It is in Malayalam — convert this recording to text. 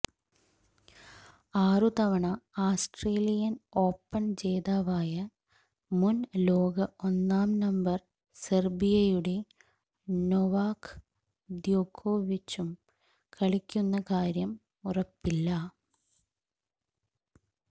ആറുതവണ ആസ്ട്രേലിയൻ ഒാപൺ ജേതാവായ മുൻ ലോക ഒന്നാം നമ്പർ സെർബിയയുടെ നൊവാക് ദ്യോകോവിച്ചും കളിക്കുന്ന കാര്യം ഉറപ്പില്ല